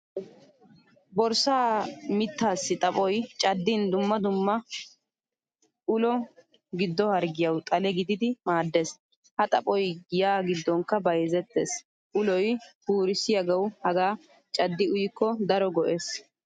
Boorissa miittasi xaphphoy cadin dumma dumma ulo gido harggiyawu xale gididi maaddees. Ha xaphphoy giya giddonkka bayzzettees. Uloy purisiyagawu haga caddi uyiko daro go'ees.